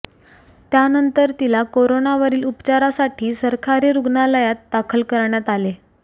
त्यानंतर तिला कोरोनावरील उपचारासाठी सरकारी रुग्णालयात दाखल करण्यात आले